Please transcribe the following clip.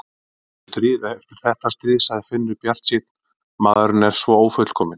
Það kemur stríð eftir þetta stríð, sagði Finnur bjartsýnn, maðurinn er svo ófullkominn.